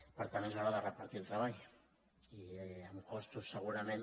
per tant és hora de repartir el treball i amb costos segurament